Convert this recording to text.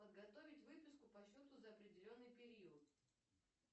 подготовить выписку по счету за определенный период